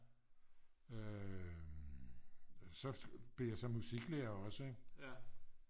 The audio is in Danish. så blev jeg så musiklærer også ik